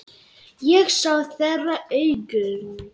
Ég sé þeirra augum.